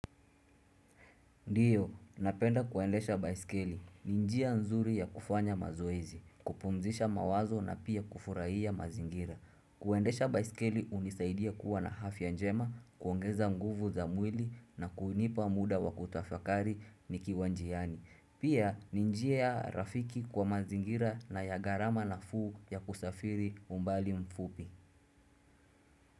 Ndiyo, napenda kuendesha baisikeli. Ni njia nzuri ya kufanya mazoezi, kupumzisha mawazo na pia kufurahia mazingira. Kuendesha baisikeli hunisaidia kuwa na afya njema, kuongeza nguvu za mwili na kunipa muda wa kutafakari nikiwa njiani. Pia ni njia ya rafiki kwa mazingira na ya gharama nafuu ya kusafiri umbali mfupi.